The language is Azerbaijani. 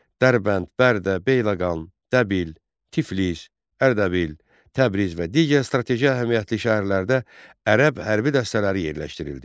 Dərbənd, Bərdə, Beyləqan, Dəbil, Tiflis, Ərdəbil, Təbriz və digər strateji əhəmiyyətli şəhərlərdə ərəb hərbi dəstələri yerləşdirildi.